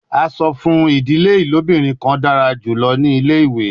A sọ fun idile ilobirin kan dara julọ ni ile-iwe